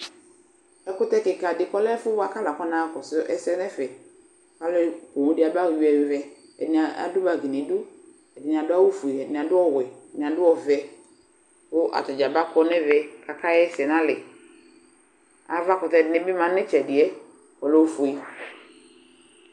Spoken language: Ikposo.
Ɛkutɛ kika de boako ɔlɛ ɛfo boa ka atane ɛfɔnaa kɔsu asɛ nɛfɛ Aloɛ poun de aba luɛluɛ Ade ado bagi nedu Ɛde ne ado awufue Ɛde neado ɔwɛ Ɛde ne ado ɔvɛ ko ata dza baakɔ nɛvɛ kaka yɛsɛ nalɛAva kutɛ de ne ma netsɛdeɛ kɔlɛ ofue